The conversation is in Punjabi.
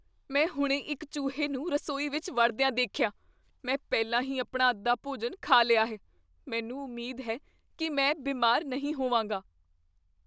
ਮੈਂ ਹੁਣੇ ਇੱਕ ਚੂਹੇ ਨੂੰ ਰਸੋਈ ਵਿੱਚ ਵੜਦਿਆਂ ਦੇਖਿਆ। ਮੈਂ ਪਹਿਲਾਂ ਹੀ ਆਪਣਾ ਅੱਧਾ ਭੋਜਨ ਖਾ ਲਿਆ ਹੈ। ਮੈਨੂੰ ਉਮੀਦ ਹੈ ਕੀ ਮੈਂ ਬਿਮਾਰ ਨਹੀਂ ਹੋਵਾਂਗਾ।